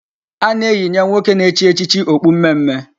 A na-eyinye nwoke na-echi echichi okpu mmemme.